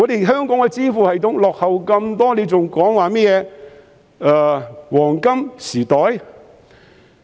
香港的支付系統落後於人，還說甚麼"黃金時代"？